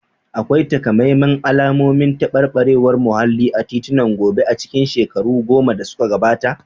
Akwai takamaiman alamomin tabarbarewar muhalli a titunan Gombe a cikin shekaru goma da suka gabata?